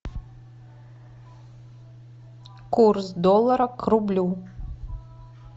курс доллара к рублю